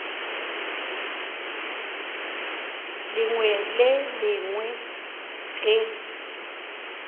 lengwe le le lengwe ge